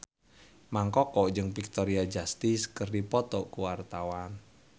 Mang Koko jeung Victoria Justice keur dipoto ku wartawan